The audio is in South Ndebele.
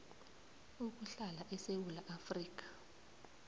ukuhlala esewula afrika